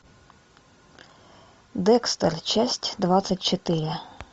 декстер часть двадцать четыре